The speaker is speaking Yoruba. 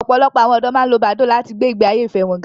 Ọ̀pọ̀lọpọ̀ àwọn ọ̀dọ́ máa ń lo Badoo láti gbé ìgbé ayé ìfẹ́ wọn ga